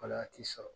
Wala a ti sɔrɔ